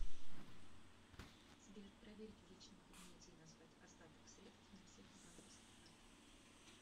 сбер проверить в личном кабинете и назвать остаток средств на всех банковских картах